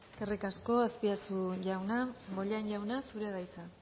eskerrik asko azpiazu jauna bollain jauna zurea da hitza